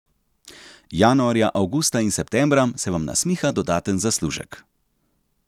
Januarja, avgusta in septembra se vam nasmiha dodaten zaslužek.